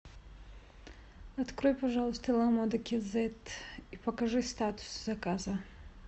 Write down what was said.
открой пожалуйста ла мода кизет и покажи статус заказа